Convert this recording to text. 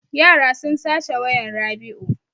Yara sun sace wayan Rabiu.